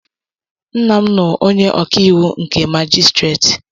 Nna m nụ onye ọkàiwụ nke majistreti